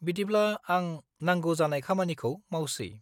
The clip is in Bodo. -बिदिब्ला आं नांगौ जानाय खामानिखौ मावसै।